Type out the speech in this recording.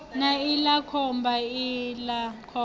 na iḽa khomba iḽa khomba